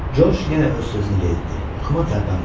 George yenə öz sözünü yeritdi, amma tərpənmədi.